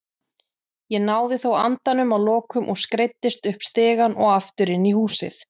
Ég náði þó andanum að lokum og skreiddist upp stigann og aftur inn í húsið.